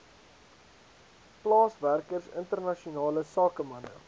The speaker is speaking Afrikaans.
plaaswerkers internasionale sakemanne